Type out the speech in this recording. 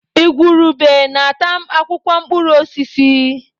Igwurube na-ata akwụkwọ mkpụrụ osisi.